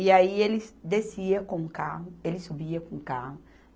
E aí, ele descia com o carro, ele subia com o carro.